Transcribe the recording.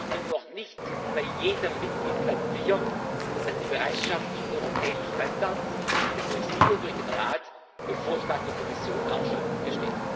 Ich bin mir noch nicht bei jedem Mitgliedsland sicher, dass die Bereitschaft für europäische Standards durch Sie und durch den Rat auf Vorschlag der Kommission auch schon besteht.